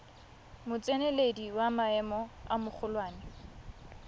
motseneledi wa maemo a magolwane